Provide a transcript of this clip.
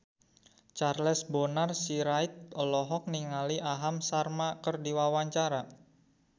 Charles Bonar Sirait olohok ningali Aham Sharma keur diwawancara